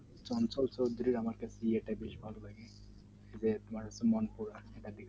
চঞ্চল চৌধুরীর আমাকে বিয়ে টা বেশ ভালো লাগে যে তুমার মন